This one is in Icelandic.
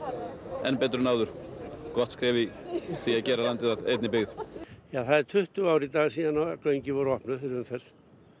enn betur en áður gott skref í því að gera landið að einni byggð já það eru tuttugu ár í dag síðan göngin voru opnuð fyrir umferð